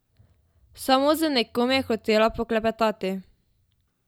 Samo z nekom je hotela poklepetati.